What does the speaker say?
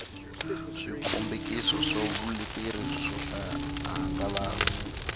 swikombekiso swa vuleteri swo hangalasa